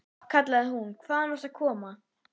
kallaði hún, hvaðan varstu að koma?